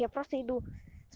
я просто иду